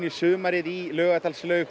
sumarið í Laugardalslaug